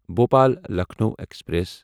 Bhopal Lucknow express